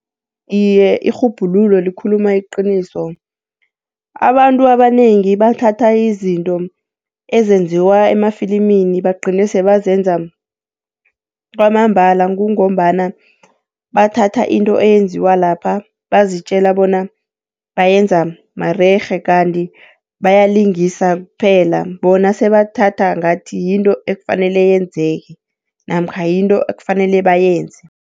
Iye, irhubhululo likhuluma iqiniso. Abantu abanengi bathatha izinto ezenziwa emafilimini bagcine sebazenza kwamambala. kungombana bathatha into eyenziwa lapha bazitjela bona bayenza marerhe kanti bayalingisa kuphela, bona sebathatha ngathi yinto ekufanele yenzeke namkha yinto ekufanele bayenze.